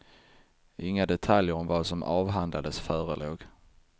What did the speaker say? Inga detaljer om vad som avhandlades förelåg.